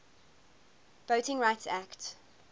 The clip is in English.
voting rights act